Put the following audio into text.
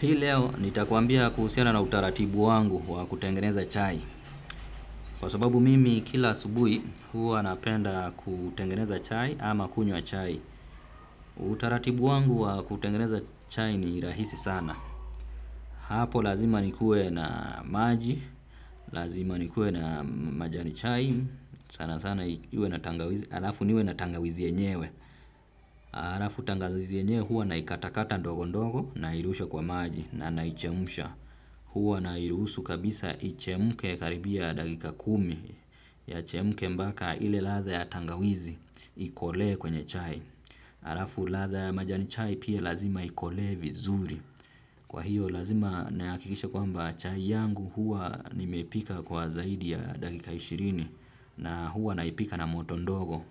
Hii leo, nitakuambia kuhusiana na utaratibu wangu wa kutengeneza chai. Kwa sababu mimi, kila asubuhi, huwa napenda kutengeneza chai ama kunywa chai. Utaratibu wangu wa kutengeneza chai ni rahisi sana. Hapo lazima nikuwe na maji, lazima nikuwe na majani chai, sana sana, alafu niwe na tangawizi enyewe. Alafu tangawizi enyewe, huwa naikatakata ndogo ndogo, nairusha kwa maji, na naichemsha. Huwa nairuhusu kabisa ichemke karibia dakika kumi yachemke mpaka ile ladha ya tangawizi ikolee kwenye chai. Alafu ladha ya majani chai pia lazima ikolee vizuri. Kwa hiyo lazima nahakikisha kwamba chai yangu huwa nimepika kwa zaidi ya dakika ishirini. Na huwa naipika na moto ndogo.